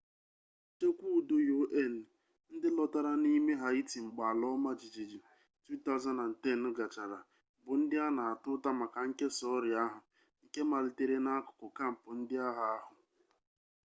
ndị nchekwa udo un ndị lọtara n'ime haịti mgbe ala ọma jijiji 2010 gachara bụ ndị a na-ata ụta maka nkesa ọrịa ahụ nke malitere n'akụkụ kampụ ndị agha ahụ